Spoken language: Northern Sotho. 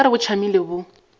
nka re bo tšamile bo